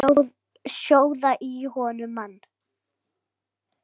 Sjóða í honum mann!